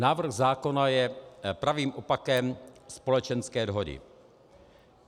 Návrh zákona je pravým opakem společenské dohody.